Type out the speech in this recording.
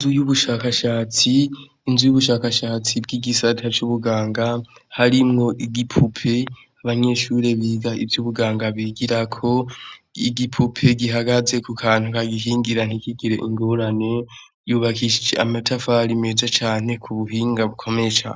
U y'ubushakashatsi inzu y'ubushakashatsi bw'igisata c'ubuganga harimwo igipupe abanyeshure biza ivyo ubuganga bigirako igipupe gihagaze ku kantu ka gikingira ntikigire ingorane yubakishije amatafaro imeja cane ku buhinga bukomesha.